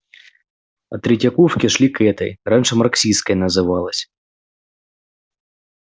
от третьяковки шли к этой раньше марксистской называлась